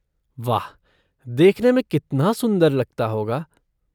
वाह, देखने में कितना सुंदर लगता होगा।